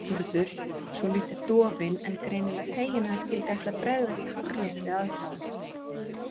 Urður, svolítið dofin en greinilega fegin að hann skyldi ætla að bregðast hárrétt við aðstæðum.